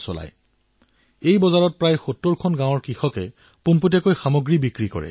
এই বজাৰসমূহত প্ৰায় ৭০খন গাঁৱৰ চাৰে চাৰি হাজাৰ কৃষকৰ উৎপাদিত সামগ্ৰী প্ৰত্যক্ষভাৱে বিক্ৰী হয়মাজত কোনো মধ্যভোগী নাই